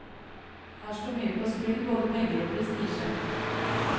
Her står mye på spill, både penger og prestisje.